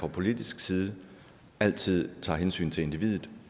fra politisk side altid tager hensyn til individet